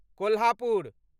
Kolhapur